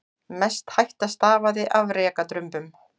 Mest hætta stafaði af rekadrumbum.